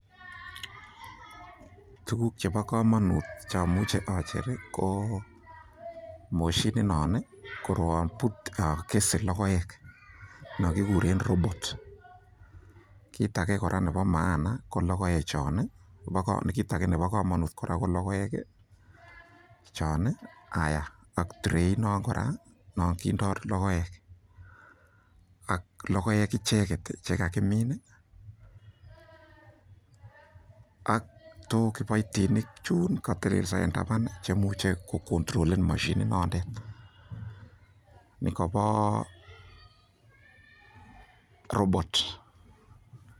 Tuguk chebo komonut che amuche oger ko moshinit non ii, ko koroon bute logoek non kiguren robot kit age kora nebo maana ko logoek chon haaiya ak trait non kora non kindo logoek ak logoek icheget che kagimin ak kiboiitnik chun che kotelelso en taban che imuche ko kontrolen moshininondet nikobo robot .